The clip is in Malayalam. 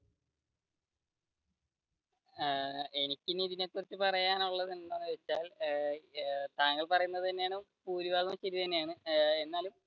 ഏർ എനിക്ക് ഇനി ഇതിനെ കുറിച്ച് പറയാനുള്ളത് എന്താണെന്നു വെച്ചാൽ താങ്കൾ പറഞ്ഞത് ഭൂരിഭാഗവും ശരി തന്നെയാണ് എന്നാലും